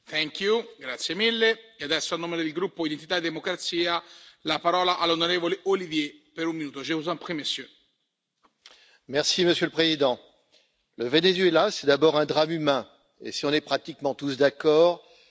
Monsieur le Président, le Venezuela, c'est d'abord un drame humain et, si on est pratiquement tous d'accord, la confirmation de la nocivité des systèmes d'aspiration collectiviste. Mais, le Venezuela, c'est pour bien des pays européens de l'Union, comme le mien,